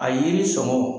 A yiri sɔngɔ